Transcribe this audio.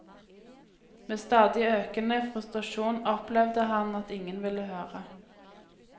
Med stadig økende frustrasjon opplevde han at ingen ville høre.